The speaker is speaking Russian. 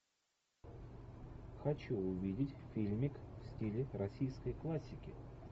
хочу увидеть фильмик в стиле российской классики